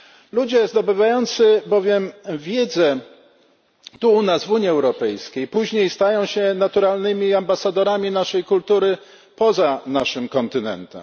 Ludzie zdobywający bowiem wiedzę tu u nas w Unii Europejskiej, później stają się naturalnymi ambasadorami naszej kultury poza naszym kontynentem.